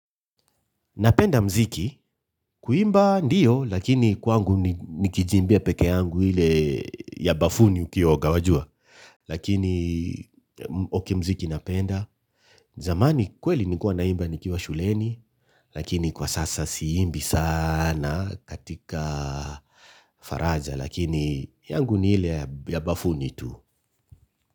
Napenda mziki. Kuimba ndiyo, lakini kwangu nikijiimbia pekee yangu ile ya bafuni ukioga wajua. Lakini okay mziki napenda. Zamani kweli nilikua naimba nikiwa shuleni, lakini kwa sasa siimbi sana katika faraja, lakini yangu ni ile ya bafuni tu.